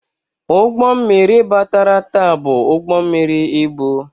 Ụgbọ mmiri batara taa bụ ụgbọ mmiri ibu.